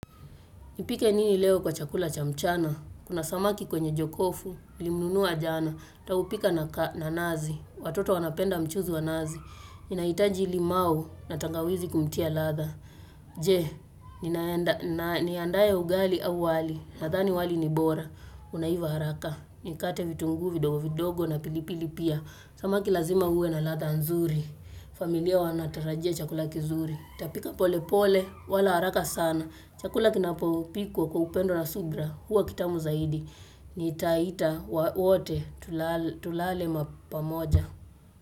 Nipike nini leo kwa chakula cha mchana, kuna samaki kwenye jokofu, nilimnunua jana, nitaupika na nazi, watoto wanapenda mchuzi wa nazi, ninahitaji limau na tangawizi kumtia ladha. Je, ninaenda, niandae ugali au wali, nadhani wali ni bora, unaiva haraka, nikate vitunguu vidogo vidogo na pilipili pia, samaki lazima uwe na ladha nzuri, familia wanatarajia chakula kizuri. Nitapika pole pole, wala haraka sana. Chakula kinapopikwa kwa upendo na subira. Huwa kitamu zaidi. Nitaita wote tulale ma pamoja.